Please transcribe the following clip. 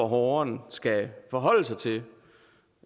borgeren skal forholde sig til